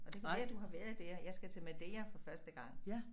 Og det kan være du har været der jeg skal til Madeira for første gang